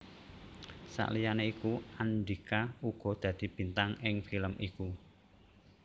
Saliyané iku Andhika uga dadi bintang ing film iku